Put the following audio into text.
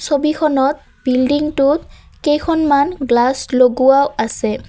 ছবিখনত বিল্ডিংটোত কেইখনমান গ্লাচ লগোৱাও আছে।